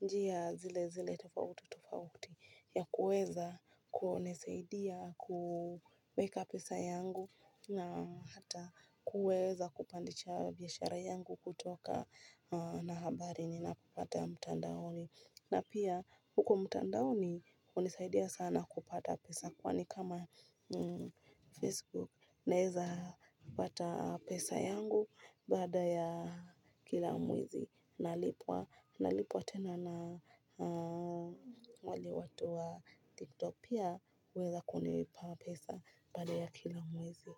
njia zile zile tofauti tofauti ya kuweza kunisaidia kuweka pesa yangu na hata kuweza kupandisha biashara yangu kutokana na habari ninazopata mtandaoni. Na pia huko mtandaoni hunisaidia sana kupata pesa, kwani kama Facebook naweza kupata pesa yangu baada ya kila mwezi. Nalipwa tena na wale watu wa TikTok pia huweza kunipa pesa baada ya kila mwezi.